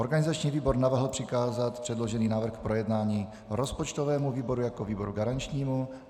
Organizační výbor navrhl přikázat předložený návrh k projednání rozpočtovému výboru jako výboru garančnímu.